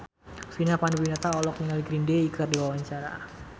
Vina Panduwinata olohok ningali Green Day keur diwawancara